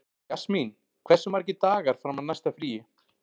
Jasmín, hversu margir dagar fram að næsta fríi?